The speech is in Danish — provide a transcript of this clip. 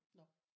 Nåh